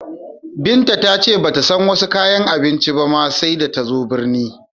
Binta ta ce ba ta san wasi kayan abincin ba ma, sai da ta zo binni.